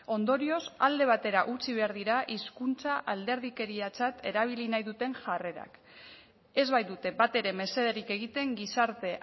ondorioz alde batera utzi behar dira hizkuntza alderdikeriatzat erabili nahi duten jarrerak ez baitute batere mesederik egiten gizarte